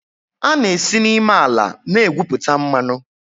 A na-esi n'ime ala na-egwupụta mmanụ.